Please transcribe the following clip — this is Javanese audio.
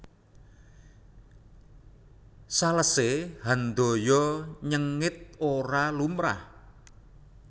Salese Handoyo nyengit ora lumrah